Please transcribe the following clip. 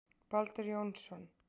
Baldur Jónsson.